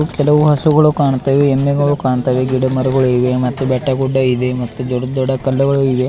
ಕೆಲವು ಹಸುಗಳು ಕಾಣ್ತಾವೆ ಎಮ್ಮೆಗಳು ಕಾಣ್ತಾವೆ ಗಿಡ ಮರಗುಳಿವೆ ಮತ್ತೆ ಬೆಟ್ಟ ಗುಡ್ಡ ಇದೆ ಮತ್ತು ದೊಡ್ಡ ದೊಡ್ಡ ಕಲ್ಲುಗಳು ಇವೆ.